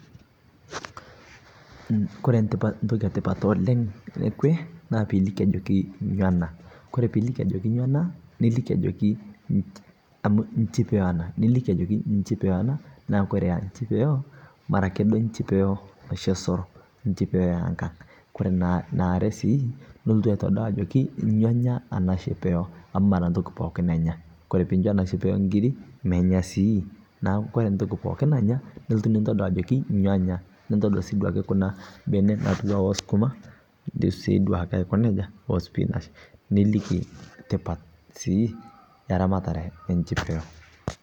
koree ntokii ee tipat oleng ekwee naa piiliki ajokii nyo anaa, kore piiliki ajokii nyo anaa nilikii ajoki nchii amu nchipeyoo anaa, nilikii ajokii nchipeyo anaa kore eraa nchipeyoo mara akee duo nchipeyoo noshii ee soro, nchipeyo ee nkang, kore naare sii nulotuu aitodol ajoo nyo enyaa anaa chipeyoo amu maraa ntokitin pookin enyaa. Kore piincho anaa chipeyoo nkirii menyaa sii. Naaku kore ntoki pookin nanyaa nulotuu nintodol ajoki nyo enyaa nintodol sii duake kuna benee natuwaa oo sukumaa ijoo sii duake aiko nejaa oo spinach. nilikii tipat sii eraramate ee nchipeyoo